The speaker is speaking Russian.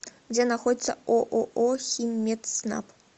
где находится ооо химмедснаб